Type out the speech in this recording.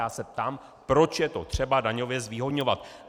Já se ptám, proč je to třeba daňově zvýhodňovat.